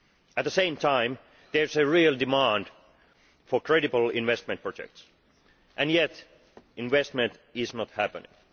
At the same time, there is a real demand for credible investment projects, and yet investment is not happening.